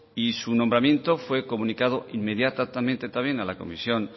y su nombramiento fue comunicado inmediatamente también a la comisión